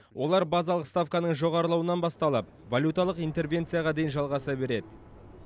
олар базалық ставканың жоғарылауынан басталып валюталық интервенцияға дейін жалғаса береді